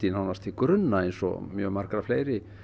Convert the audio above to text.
nánast til grunna eins og mjög margra